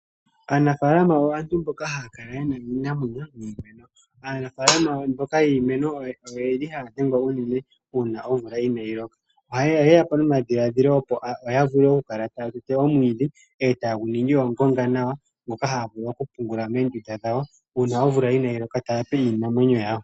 Aanafalama aantu mboka haya kala ye na iinamwenyo niimemo. Aanafalama mboka yiimeno oye li haya dhengwa unene uuna omvula ina yi loka ohaye yapo nomadhiladhilo opo ya vule okukala taya tete omwiidhi e taye gu ningi ongonga nawa moka haya vulu okupungula moondunda dhawo uuna omvula inayi loka taya pe iinamwenyo yawo.